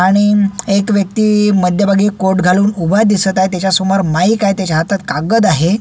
आणि एक व्यक्ति मध्यभागी कोट घालून उभा दिसत आहे त्याच्यासमोर माइक आहे त्याच्या हातात कागद आहे.